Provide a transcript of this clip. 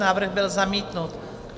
Návrh byl zamítnut.